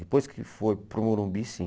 Depois que foi para o Morumbi, sim.